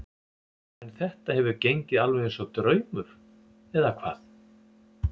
En þetta hefur gengið alveg eins og draumur eða hvað?